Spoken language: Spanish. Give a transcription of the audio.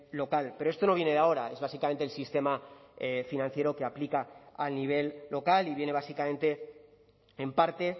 local pero esto no viene de ahora es básicamente el sistema financiero que aplica a nivel local y viene básicamente en parte